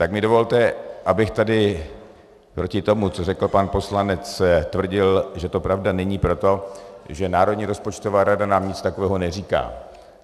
Tak mi dovolte, abych tady proti tomu, co řekl pan poslanec, tvrdil, že to pravda není, proto, že Národní rozpočtová rada nám nic takového neříká.